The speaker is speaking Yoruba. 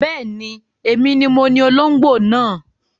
Bẹ́ẹ̀ni, èmi ni moní olóngbó náà